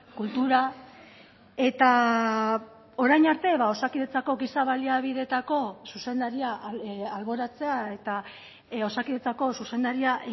kultura eta orain arte osakidetzako giza baliabideetako zuzendaria alboratzea eta osakidetzako zuzendaria